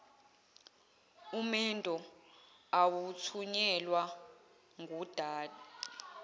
umendo awuthunyelwa gundane